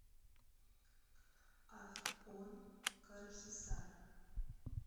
афьон карахисар